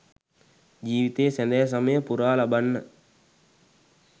ජීවිතයේ සැදෑ සමය පුරා ලබන්න